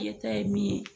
E ta ye min ye